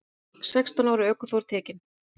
Sextán ára ökuþór tekinn